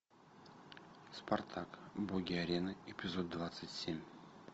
спартак боги арены эпизод двадцать семь